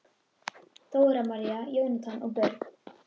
Dóra María, Jónatan og börn.